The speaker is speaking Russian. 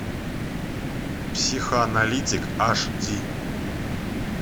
психоаналитик аш ди